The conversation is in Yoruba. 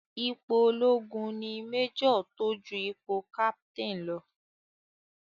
Ipò ológun ni Major tó ju ipò Captain lọ.